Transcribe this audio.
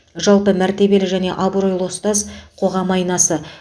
жалпы мәртебелі және абыройлы ұстаз қоғам айнасы